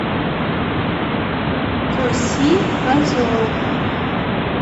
коси газон